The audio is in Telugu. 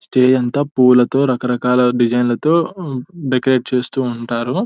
స్టేజ్ అంతా పూలతో రకరకాల డిజైన్లతో డెకొరేట్ చేస్తూ ఉంటారు.